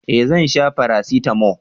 eh Zan sha parasitamo